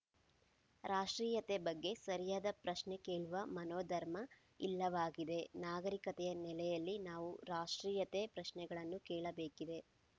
ರಾಷ್ಟ್ರೀಯತೆ ಬಗ್ಗೆ ಸರಿಯಾದ ಪ್ರಶ್ನೆ ಕೇಳುವ ಮನೋಧರ್ಮ ಇಲ್ಲವಾಗಿದೆ ನಾಗರಿಕತೆಯ ನೆಲೆಯಲ್ಲಿ ನಾವು ರಾಷ್ಟ್ರೀಯತೆ ಪ್ರಶ್ನೆಗಳನ್ನು ಕೇಳಬೇಕಿದೆ